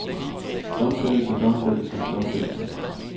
domfældelser domfældelser domfældelser